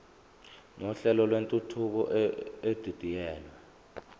nohlelo lwentuthuko edidiyelwe